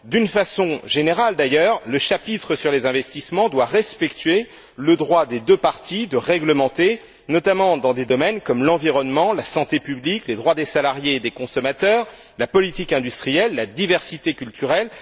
D'une façon générale d'ailleurs, le chapitre sur les investissements doit respecter le droit des deux parties de réglementer notamment dans des domaines comme l'environnement, la santé publique, les droits des salariés et des consommateurs, la politique industrielle et la diversité culturelle.